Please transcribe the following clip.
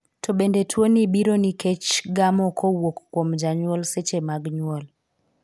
To bende tuoni biro nikech gamo kowuok kuom janyuol seche mag nyuol?